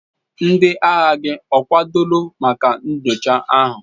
Ndị agha gị ọ kwadoro maka nyocha ahụ?